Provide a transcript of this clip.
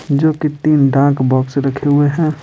जो कि तीन डाक बॉक्स रखे हुए है।